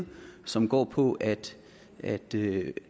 og som går på at at det